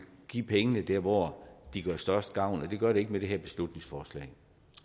give pengene der hvor de gør størst gavn og det gør de ikke med det her beslutningsforslag